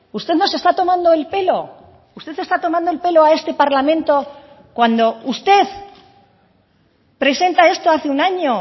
usted nos está tomando el pelo usted está tomando el pelo a este parlamento cuando usted presenta esto hace un año